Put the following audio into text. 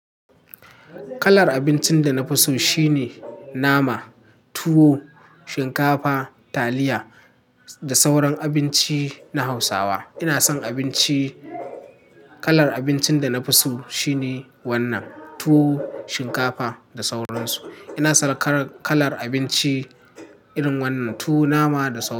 Kalar abincin da na fi so shine nama, tuwo, shinkafa, taliya da sauran abinci na Hausawa. Ina son abinci. Kalar abincin da na fi so shine wannan tuwo, shinkafa da sauransu. Ina son kalar, kalar abinci irin wannan tuwo, nama da sauran su.